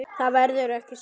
Það verður ekki strax